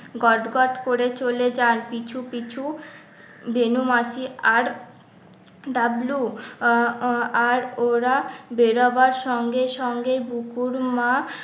গটগট করে চলে যান পিছু পিছু বেনু মাসি আর ডাবলু আহ আর ওরা বেরোবার সঙ্গে সঙ্গে বুকুর মা